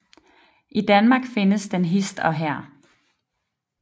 I Danmark findes den hist og her